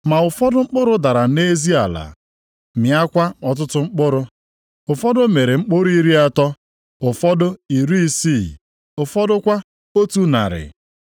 Ma ụfọdụ mkpụrụ dara nʼezi ala, mịakwa ọtụtụ mkpụrụ. Ụfọdụ mịrị mkpụrụ iri atọ, ụfọdụ iri isii, ụfọdụ kwa otu narị.